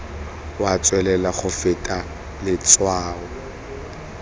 wa tswelela go feta letshwao